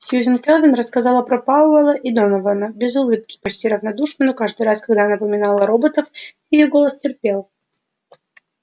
сьюзен кэлвин рассказывала про пауэлла и донована без улыбки почти равнодушно но каждый раз когда она упоминала роботов её голос теплел